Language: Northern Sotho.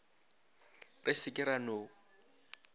re se ke ra no